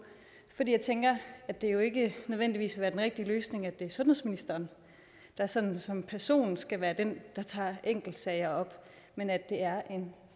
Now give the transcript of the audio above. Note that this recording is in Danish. jeg tænker at det jo ikke nødvendigvis vil være den rigtige løsning at det er sundhedsministeren der sådan som person skal være den der tager enkeltsager op men at det er en